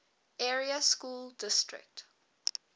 area school district